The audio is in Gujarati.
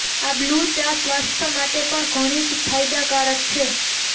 આ બ્લૂ ચા સ્વાસ્થ્ય માટે પણ ઘણી ફાયદાકારક છે